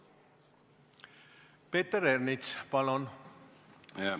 Peeter Ernits, palun!